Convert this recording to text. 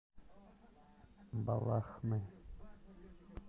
балахны